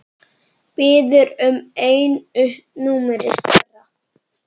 Biður um einu númeri stærra.